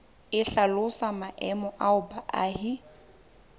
e hlalosang maemo ao baahi